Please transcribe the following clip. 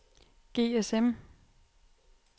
GSM